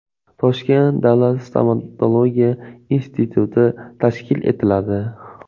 Toshkent davlat stomatologiya instituti tashkil etiladi.